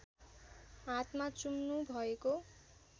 हातमा चुम्नुभएको